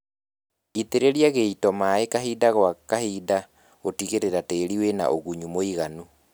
Itĩrĩria gĩito maĩĩ kahinda gwa kahinda gũtigĩrĩra tĩri wĩna ũgunyu mũiganu